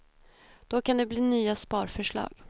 Då kan det bli nya sparförslag.